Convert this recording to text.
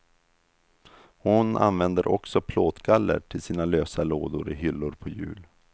Hon använder också plåtgaller till sina lösa lådor i hyllor på hjul.